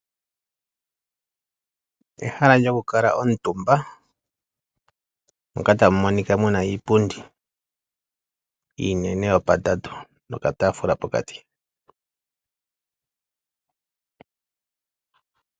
Ehala lyo ku kala omutumba ,mpoka tamu monika iipundi iinene yo pa tatu noka taafula pokati.